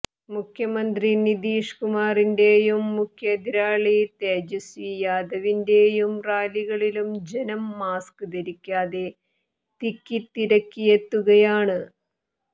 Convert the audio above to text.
മുഖ്യമന്ത്രി നിതീഷ് കുമാറിന്റെയും മുഖ്യ എതിരാളി തേജസ്വി യാദവിന്റെയും റാലികളിലും ജനം മാസ്ക് ധരിക്കാതെ തിക്കിത്തിരക്കിയെത്തുകയാണ്